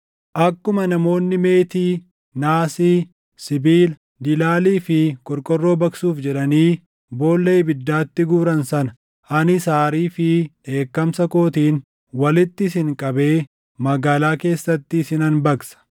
Akkuma namoonni meetii, naasii, sibiila, dilaalii fi qorqorroo baqsuuf jedhanii boolla ibiddaatti guuran sana, anis aarii fi dheekkamsa kootiin walitti isin qabee magaalaa keessatti isinan baqsa.